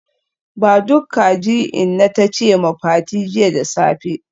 Ba duk kaji inna tace ma Fati jiya da safe